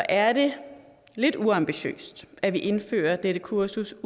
er det lidt uambitiøst at vi udelukkende indfører dette kursus